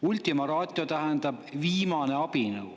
Ultima ratio tähendab "viimane abinõu".